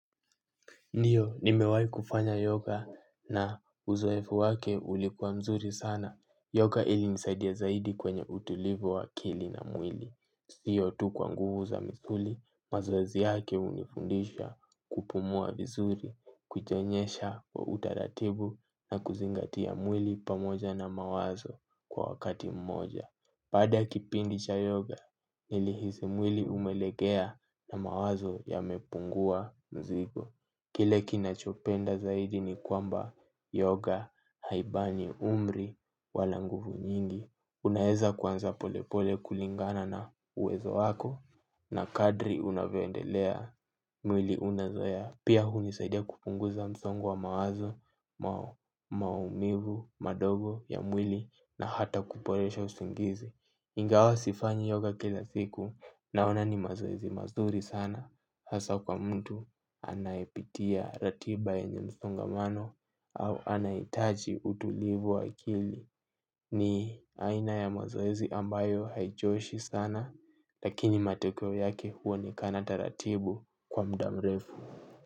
Ndiyo, nimewai kufanya yoga na uzoefu wake ulikuwa mzuri sana. Yoga ili nisaidia zaidi kwenye utulivu wa akili na mwili. Siyo tu kwa nguvu za msuli, mazoezi yake unifundisha kupumua vizuri, kujionyesha wa utaratibu na kuzingatia mwili pamoja na mawazo kwa wakati mmoja. Baada kipindi cha yoga, nilihisi mwili umelegea na mawazo yamepungua mzigo. Kile kinachopenda zaidi ni kwamba yoga haibani umri wala nguvu nyingi. Unaeza kwanza polepole kulingana na uwezo wako na kadri unavyoendelea mwili unazoea. Pia hunisaidia kupunguza msongo wa mawazo maumivu madogo ya mwili na hata kuporesha usingizi. Ingawa sifanyi yoga kila siku naona ni mazoezi mazuri sana hasa kwa mtu anayepitia ratiba yenye msongamano au anahitaji utulivu wa akili ni aina ya mazoezi ambayo haichoshi sana lakini matekeo yake huonekana taratibu kwa muda mrefu.